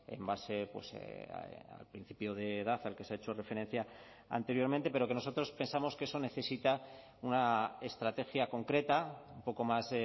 en base al principio de edad al que se ha hecho referencia anteriormente pero que nosotros pensamos que eso necesita una estrategia concreta un poco más